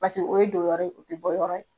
o ye dogo yɔrɔ ye dogoyɔ ye.